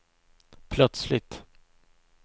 plötsligt